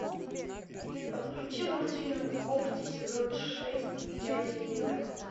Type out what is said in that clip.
подключи мультфильм когти сезон шесть часть одиннадцать